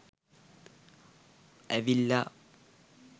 ඇවිල්ලා